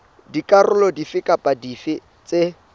dikarolo dife kapa dife tse